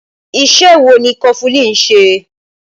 Ìṣe wo ni kọfulin ń ṣe?